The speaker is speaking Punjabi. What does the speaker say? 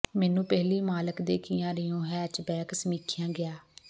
ਮੈਨੂੰ ਪਹਿਲੀ ਮਾਲਕ ਦੇ ਕੀਆ ਰਿਓ ਹੈਚਬੈਕ ਸਮੀਖਿਆ ਗਿਆ